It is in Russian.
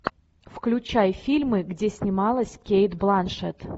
включай фильмы где снималась кейт бланшетт